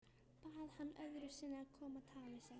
Bað hann öðru sinni að koma og tala við sig.